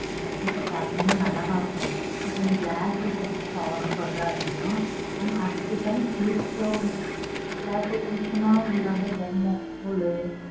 அதுக்கேத்த packing லாம் நல்லாத்தான் இருக்கும். இப்போ நீ glass items order போட்ற அப்படினா ஆனா அதுகேத்தாப்லா safety யா உள்ள glass items னா thermacol